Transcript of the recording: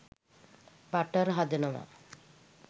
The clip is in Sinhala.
බටර් හදනවා.